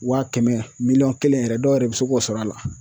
Wa kɛmɛ miliyɔn kelen yɛrɛ dɔw yɛrɛ bɛ se k'o sɔrɔ a la.